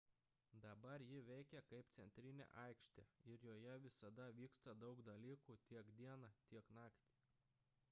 dabar ji veikia kaip centrinė aikštė ir joje visada vyksta daug dalykų tiek dieną tiek naktį